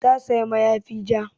Ta sayi mayafi ja